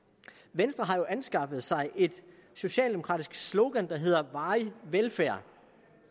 venstre har jo anskaffet sig et socialdemokratisk slogan der hedder varig velfærd